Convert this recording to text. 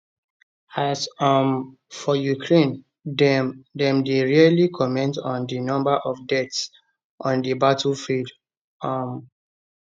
as um for ukraine dem dem dey rarely comment on di number of deaths on di battlefield um